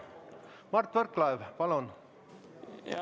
Mart Võrklaev, palun!